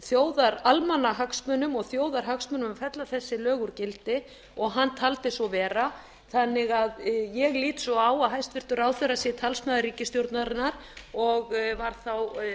þjóðaralmannahagsmunum og þjóðarhagsmunum að að fella þessi lög úr gildi og hann taldi svo vera þannig að ég lít svo á að hæstvirtur ráðherra sé talsmaður ríkisstjórnarinnar og var þá